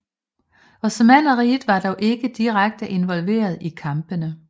Osmanneriget var dog ikke direkte involveret i kampene